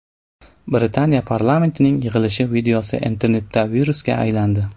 Britaniya parlamentining yig‘ilishi videosi internetda virusga aylandi.